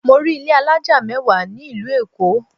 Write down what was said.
Mọ rí ilé alájà mẹ́wàá ní ìlú Èkó.